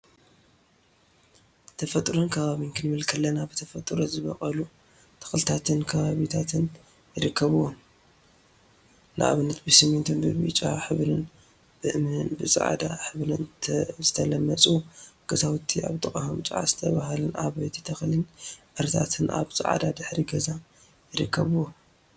ተፈጥሮን አከባቢን ክንብል ከለና ብተፈጥሮ ዝበቀሉ ተክልታትን ከባቢታትን ይርከቡዎም፡፡ ንአብነት ብስሚንቶን ብብጫ ሕብሪን ብእምኒን ብፃዕዳ ሕብሪን ዝተለመፁ ገዛውቲ አብ ጥቅኦም ጨዓ ዝተብሃለት ዓባይ ተክሊን ዕረታትን አብ ፃዐዳ ድሕረ ገፅ ይርከቡዎም፡፡